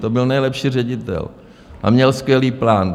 To byl nejlepší ředitel a měl skvělý plán.